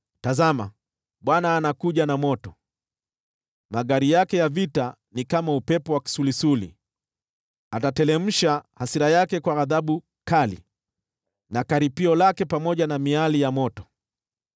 Tazama, Bwana anakuja na moto, magari yake ya vita ni kama upepo wa kisulisuli, atateremsha hasira yake kwa ghadhabu kali, na karipio lake pamoja na miali ya moto.